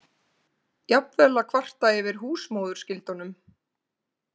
Jafnvel að kvarta yfir húsmóðurskyldunum.